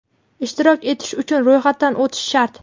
Ishtirok etish uchun ro‘yxatdan o‘tish shart.